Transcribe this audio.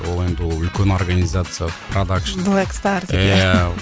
ол енді үлкен ол организация продакшн блэк стар деп иә